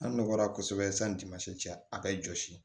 An nɔgɔra kosɛbɛ sanni diman tɛ a bɛ jɔsi